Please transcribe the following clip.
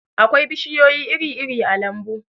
akwai bishiyoyi iri-iri a lambu